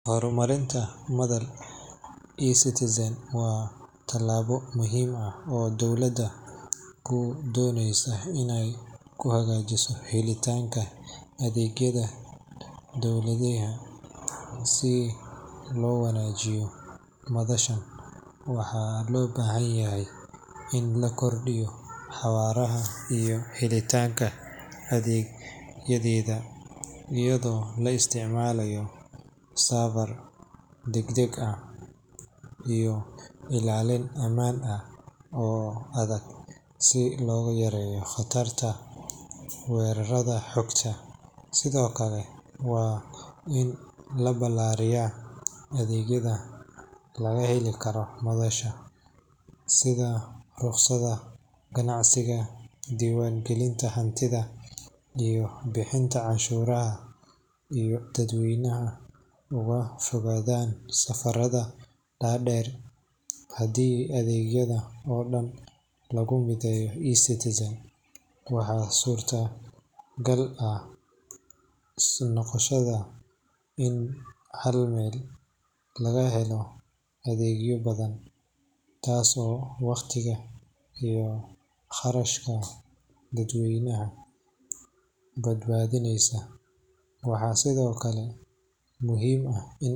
Horumarinta madal eCitizen waa tallaabo muhiim ah oo dowladda ku doonayso inay ku hagaajiso helitaanka adeegyada dadweynaha. Si loo wanaajiyo madashan, waxaa loo baahan yahay in la kordhiyo xawaaraha iyo helitaanka adeegyadeeda iyadoo la isticmaalayo serverro degdeg ah iyo ilaalin ammaan oo adag si loo yareeyo khatarta weerarrada xogta. Sidoo kale, waa in la balaariyaa adeegyada laga heli karo madasha, sida rukhsadaha ganacsiga, diiwaangelinta hantida, iyo bixinta canshuuraha si dadweynuhu uga fogaadaan safarada dhaadheer. Haddii adeegyada oo dhan lagu mideeyo eCitizen, waxaa suurtogal noqonaysa in hal meel laga helo adeegyo badan, taas oo waqtiga iyo kharashka dadweynaha badbaadineysa. Waxaa sidoo kale muhiim ah in.